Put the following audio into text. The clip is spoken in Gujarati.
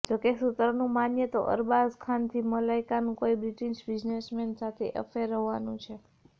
જોકે સૂત્રોનું માનીએ તો અરબાઝ ખાનથી મલાઇકાનું કોઈ બ્રિટિશ બિઝનેસમેન સાથે અફેર હોવાનું છે